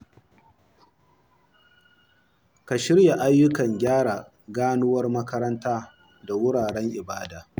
Ka shirya ayyukan gyara ganuwar makaranta da wuraren ibada.